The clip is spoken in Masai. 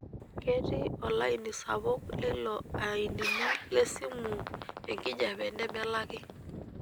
Ketii olaini sapuk leilo ainini lesimu enkijiepe nemelaki.